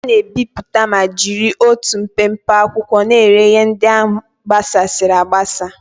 A na-ebipụta ma jiri otu mpempe akwụkwọ na-ere ihe ndị gbasasịrị agbasa.